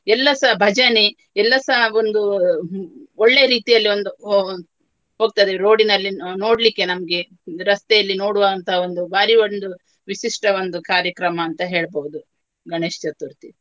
ಎಲ್ಲಸ ಭಜನೆ ಎಲ್ಲಸ ಒಂದು ಒಳ್ಳೆ ರೀತಿಯಲ್ಲಿ ಒಂದು ಹೋ~ ಹೋಗ್ತಾರೆ road ನಲ್ಲಿ. ನೋ~ ನೋಡ್ಲಿಕ್ಕೆ ನಮ್ಗೆ ಒಂದು ರಸ್ತೆಯಲ್ಲಿ ನೋಡುವ ಅಂತ ಒಂದು ಭಾರಿ ಒಂದು ವಿಶಿಷ್ಟ ಒಂದು ಕಾರ್ಯಕ್ರಮ ಅಂತ ಹೇಳ್ಬಹುದು ಗಣೇಶ್ ಚತುರ್ಥಿ.